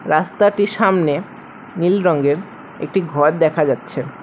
রাস্তাটির সামনে নীল রঙ্গের একটি ঘর দেখা যাচ্ছে।